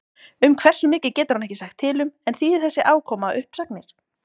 Um hversu mikið getur hann ekki sagt til um en þýðir þessi afkoma uppsagnir?